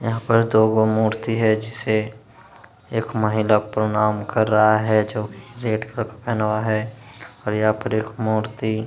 यहाँ पर दो गो मूर्ति है जिसे एक महिला प्रणाम कर रहा है जो रेड कलर पहना हुआ है और यहाँ पर एक मूर्ति --